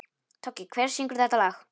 Toggi, hver syngur þetta lag?